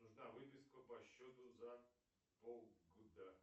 нужна выписка по счету за полгода